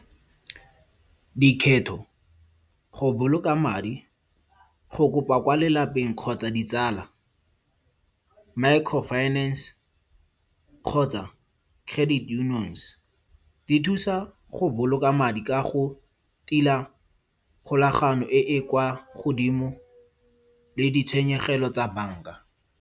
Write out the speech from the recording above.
Dikgetho, go boloka madi, go kopa kwa lelapeng kgotsa ditsala, micro finance kgotsa credit unions. Di thusa go boloka madi ka go tila kgolagano e e kwa godimo le ditshenyegelo tsa banka.